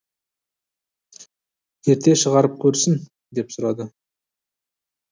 ерте шығарып көрсін деп сұрады